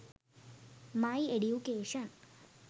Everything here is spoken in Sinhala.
my education